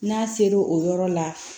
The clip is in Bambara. N'a ser'o o yɔrɔ la